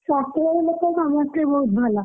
ଶାଶୁଘର ଲୋକ ସମସ୍ତେ ବହୁତ ଭଲ!